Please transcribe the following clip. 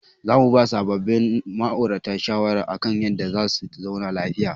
Za mu ba sabobbin ma'aurata shawara akan yadda za su zauna lafiya.